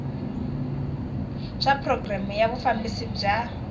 swa programu ya vufambisi bya